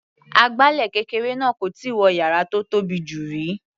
Agbálẹ̀ kékeré náà kò tíì wọ yàrá tó tóbi jù rí.